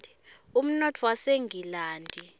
umnotfo wasengilandi